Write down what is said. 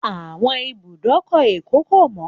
Àwọn ibùdókọ̀ Èkó kò mọ́